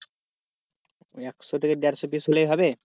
একশো থেকে দেড়শো piece হলেই হবে?